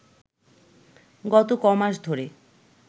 গত ক'মাস ধরে